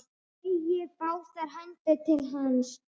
Teygir báðar hendur til hans.